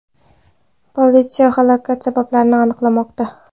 Politsiya halokat sabablarini aniqlamoqda.